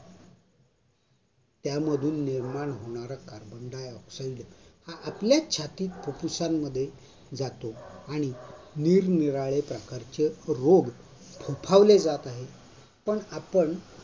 त्यातून निर्माण होणारा carbon dioxide हा आपल्याच छाती फुफ्फुसांमध्ये जातो. त्यामुळे निरनिराळ्या प्रकारचे रूप फोफावले जात आहेत, पण आपण